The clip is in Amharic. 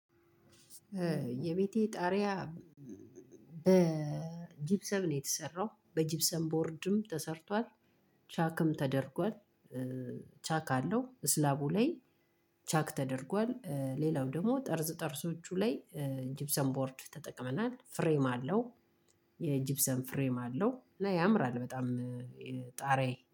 የቤቴ ጣርያ በጅብሰም ነው የተሰራው በጅብሰም ቦርድም ተሰርቷል። ቻክም ተደርጓል ቻክ አለው። ስላቡ ላይ ቻክ ተደርጓል። ሌላው ደግሞ ጠርዝ ጠርዞቹ ላይ ጂፕሰም ቦርድ ተጠቅመናል ፍሬም አለው። የጂብሰም ፍሬም አለው እና ያምራል በጣም። ጣሪያዬ